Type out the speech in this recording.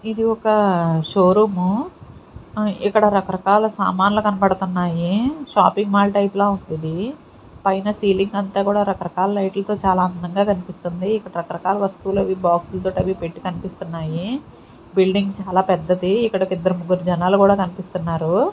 ఇది ఒక షోరూము ఆ ఇక్కడ రకరకాల సామాన్లు కనబడుతున్నాయి షాపింగ్ మాల్ టైప్ లో ఉంది ఇది పైన సీలింగ్ అంతా కూడా రకరకాల లైట్ల తో చాలా అందంగా కనిపిస్తుంది రకరకాల వస్తువులు బాక్స్ తోట అవి పెట్టి కనిపిస్తున్నాయి బిల్డింగ్ చాలా పెద్దది ఇక్కడ ఒక ఇద్దరు ముగ్గురు జనాలు కూడా కనిపిస్తున్నారు.